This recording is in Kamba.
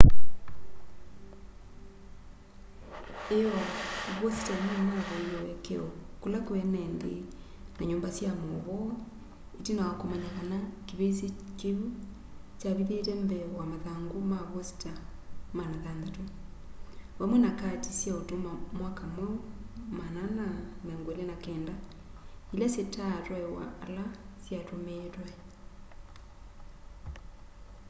ĩoo vosita nĩnavoie ũekeo kũla kwĩ enenthĩ na nyumba sya maũvoo ĩtina wa kũmanya kana kĩvĩsĩ kĩu kyavithĩte mbee wa mathangũ ma vosita 600 vamwe na kati sya ũtũma mwaka mweũ 429 ila sitatwaĩwa ala syatũmĩĩtwe